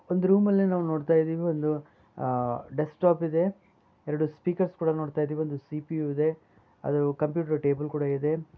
ಒಂದ್ ರೂಮಲ್ಲಿ ನಾವ್ ನೋಡ್ತಯ್ದಿವಿ ಒಂದು ಅಹ್ ಡೆಸ್ಟಾಪ್ ಇದೆ ಎರೆಡು ಸ್ಪೀಕರ್ಸ್ ಕೂಡ ನೋಡ್ತಯ್ದಿವಿ ಒಂದು ಸಿ.ಪಿ.ಯು ಇದೆ ಆದ್ರು ಕಂಪ್ಯೂಟರ್ ಟೇಬಲ್ ಕೂಡ ಇದೆ.